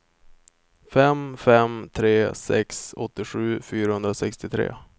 fem fem tre sex åttiosju fyrahundrasextiotre